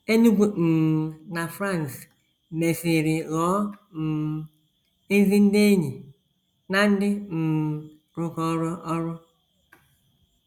Enugu um na Franz mesịrị ghọọ um ezi ndị enyi na ndị um rụkọrọ ọrụ.